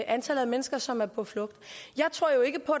antallet af mennesker som er på flugt jeg tror jo ikke på